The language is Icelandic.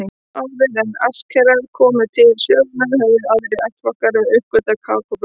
Áður en Astekar komu til sögunnar höfðu aðrir ættflokkar uppgötvað kakóbaunina.